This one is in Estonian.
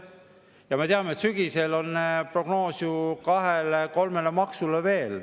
Ja me teame, et sügisel on prognoos ju kahele-kolmele maksule veel.